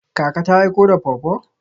Kaka ta aiko da pawpaw?